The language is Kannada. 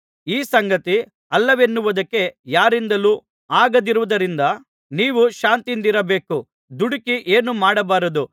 ಈ ಸಂಗತಿ ಅಲ್ಲವೆನ್ನುವುದಕ್ಕೆ ಯಾರಿಂದಲೂ ಆಗದಿರುವುದರಿಂದ ನೀವು ಶಾಂತಿಯಿಂದಿರಬೇಕು ದುಡುಕಿ ಏನೂ ಮಾಡಬಾರದು